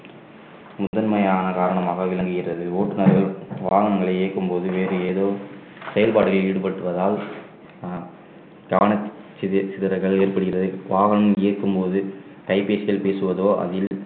முதன்மையான காரணமாக விளங்குகிறது ஓட்டுநர்கள் வாகனங்களை இயக்கும்போது வேறு ஏதோ செயல்பாடுகளில் ஈடுபட்டு வருவதால் ஆஹ் கவன சித~ சிதறல் ஏற்படுகிறது வாகனம் இயக்கும்போது கைபேசியில் பேசுவதோ அதில்